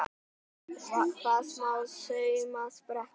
Hvað, smá saumspretta!